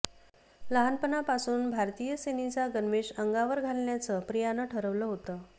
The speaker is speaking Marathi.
लहानपणापासून भारतीय सेनेचा गणवेश अंगावर घालण्याचं प्रियाने ठरवलं होतं